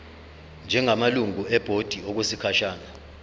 njengamalungu ebhodi okwesikhashana